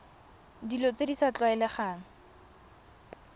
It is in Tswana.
dilo tse di sa tlwaelegang